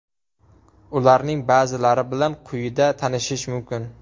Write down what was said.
Ularning ba’zilari bilan quyida tanishish mumkin.